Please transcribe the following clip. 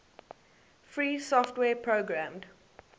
free software programmed